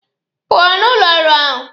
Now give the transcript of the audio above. Pụọ n'ụlọ ọrụ ahụ!